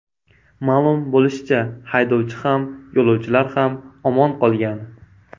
Ma’lum bo‘lishicha , haydovchi ham, yo‘lovchilar ham omon qolgan.